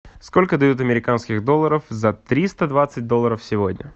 сколько дают американских долларов за триста двадцать долларов сегодня